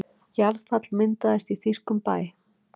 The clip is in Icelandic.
Jarðfall myndaðist í þýskum bæ